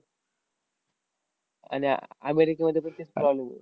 आन आह अमेरिकेमध्ये तर तेच चालू आहे.